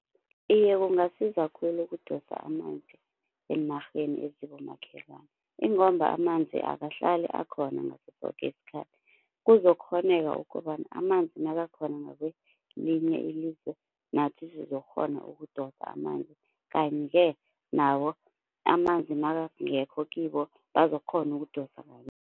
Iye kungasiza khulu ukudosa amanzi eenarheni ezibomakhelwana ingomba amanzi akahlali akhona ngaso soke isikhathi. Kuzokukghoneka ukobana amanzi nakakhona ngakwelinye ilizwe nathi sizokukghona ukudosa amanzi. Kanti-ke nabo amanzi nakangekho kibo bazokukghona ukudosa ngakithi